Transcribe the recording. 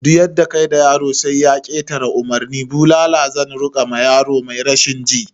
Duk yadda kayi da yaro sai ya ketare umurni, bulala zan rika ma yaro mai rashin ji